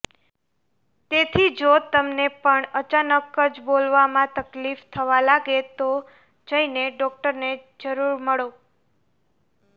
તેથી જો તમને પણ અચાનક જ બોલવામાં તકલીફ થવા લાગે તો જઈને ડોક્ટરને જરૂર મળો